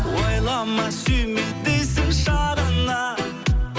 ойлама сүйме дейсің шағына